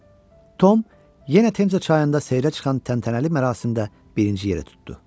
Tom yenə Temza çayında seyrə çıxan təntənəli mərasimdə birinci yeri tutdu.